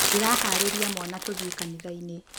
Ndĩraharĩria mwana tũthiĩ kanitha-inĩ.